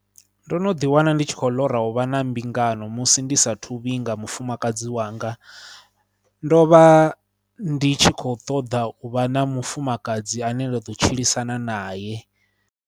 Ndo no ḓiwana ndi tshi khou ḽora uvha na mbingano musi ndi saathu vhinga mufumakadzi wanga, ndo vha ndi tshi kho ṱoḓa u vha na mufumakadzi ane nda ḓo tshilisana naye.